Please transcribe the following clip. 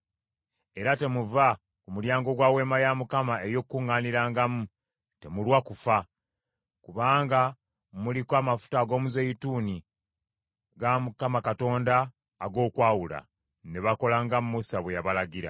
Era temuva ku mulyango gwa Weema ey’Okukuŋŋaanirangamu, temulwa kufa; kubanga muliko amafuta ag’omuzeeyituuni ga Mukama Katonda ag’okwawula.” Ne bakola nga Musa bwe yabalagira.